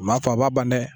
O b'a to a b'a ban dɛ